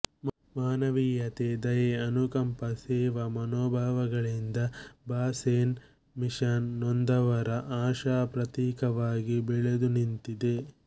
ಮಾನವೀಯತೆ ದಯೆ ಅನುಕಂಪ ಸೇವಾ ಮನೋಭಾವಗಳಿಂದ ಬಾಸೆಲ್ ಮಿಷನ್ ನೊಂದವರ ಆಶಾಪ್ರತೀಕವಾಗಿ ಬೆಳೆದು ನಿಂತಿದೆ